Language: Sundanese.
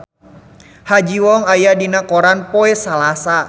Ha Ji Won aya dina koran poe Salasa